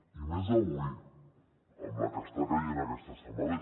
i més avui amb la que està caient aquesta setmana